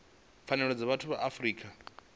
pfanelo dza vhathu ya afrika